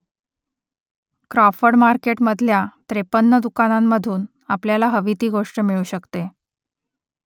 Crawford मार्केटमधल्या त्रेपन्न दुकानांमधून आपल्याला हवी ती गोष्ट मिळू शकते